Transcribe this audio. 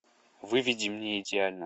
выведи мне идеально